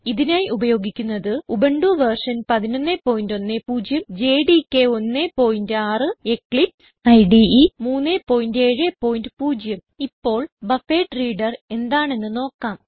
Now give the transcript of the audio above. ഇതിനായി ഉപയോഗിക്കുന്നത് Ubuntu v 1110 JDK 16 Eclipse ഇടെ 370 ഇപ്പോൾ ബഫറഡ്രീഡർ എന്താണെന്ന് നോക്കാം